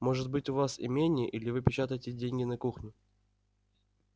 может быть у вас имение или вы печатаете деньги на кухне